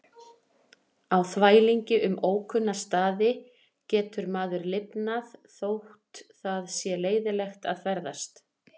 Á þvælingi um ókunna staði getur maður lifnað þótt það sé leiðinlegt að ferðast.